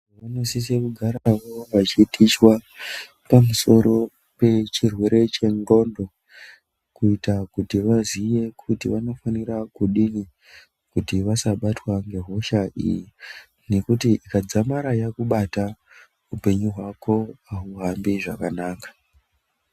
...vanosise kugara panonga pachitichwa pamusoro pechirwere chendxondo kuita kuti vaziye kuti vanofanira kudini kuti vasabatwa ngehosha iyi nekuti ikadzamara yakubata, upenyu hwako hauhambi zvakanaka.